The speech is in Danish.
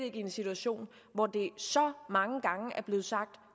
i en situation hvor det så mange gange er blevet sagt